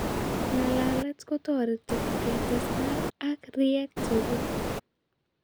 Ng'alalet kotoreti kestestai ak riiek chekuk